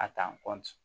A ta